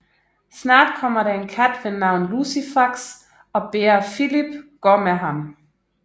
Snart kommer der en kat ved navn Lucifax og beder Filip gå med ham